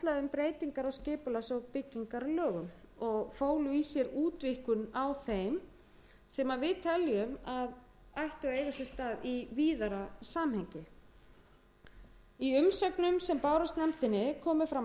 breytingar á skipulags og byggingarlögum og fólu í sér útvíkkun á þeim sem við teljum að ættu að eiga sér stað í víðara samhengi í umsögnum sem bárust nefndinni komu fram